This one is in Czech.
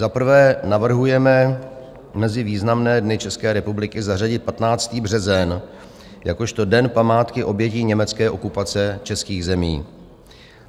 Za prvé, navrhujeme mezi významné dny České republiky zařadit 15. březen jakožto Den památky obětí německé okupace českých zemí.